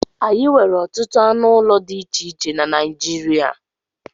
Anyị nwere ọtụtụ anụ ụlọ dị iche iche na Naịjirịa